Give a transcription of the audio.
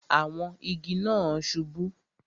Àwọn igi náà subú